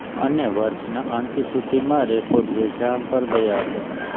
અને વર્ષના અંત સુધીમાં રેકોર્ડ વેચાણ પર ગયા હતા